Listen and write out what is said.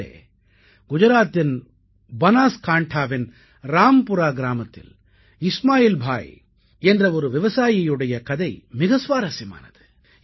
நண்பர்களே குஜராத்தின் பனாஸ்காண்டாவின் ராம்புரா கிராமத்தில் இஸ்மாயில் பாய் என்ற ஒரு விவசாயியுடைய கதை மிக சுவாரசியமானது